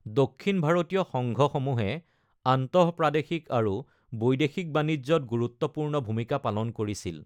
দক্ষিণ ভাৰতীয় সংঘসমূহে আন্তঃপ্ৰাদেশিক আৰু বৈদেশিক বাণিজ্যত গুৰুত্বপূৰ্ণ ভূমিকা পালন কৰিছিল।